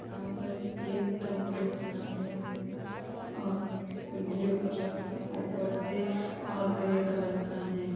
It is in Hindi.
यहाँ पर एक तंबू तना हुआ और ब्लू कलर का ऊपर से और ग्रे कलर का है।